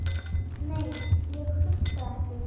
Nei, ég hugsa ekki.